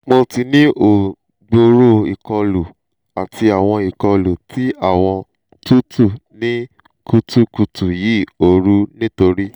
mo ti ni o gbooro ikolu ti awọn ikolu ti awọn tutu ni kutukutu yi ooru nitori